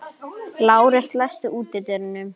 Lárus, læstu útidyrunum.